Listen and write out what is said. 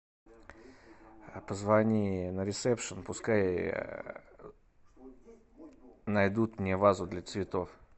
позвони на ресепшн пускай найдут мне вазу для цветов